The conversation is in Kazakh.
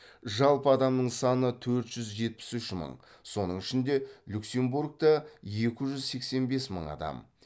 жалпы адамның саны төрт жүз жетпіс үш мың соның ішінде люксембургта екі жүз сексен бес мың адам